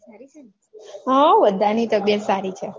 હવ બધાંની તબિયત સારી છે.